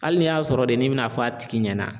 Hali n'i y'a sɔrɔ de n'i bɛna fɔ a tigi ɲɛna.